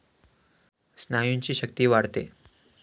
स्नायूंची शक्ती वाढते.